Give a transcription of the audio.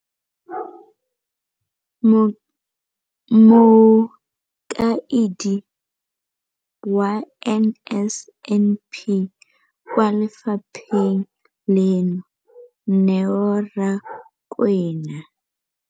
Mokaedi wa NSNP kwa lefapheng leno, Neo Rakwena,